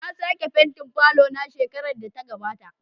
Na sake fentin falon shekarar da ta gabata.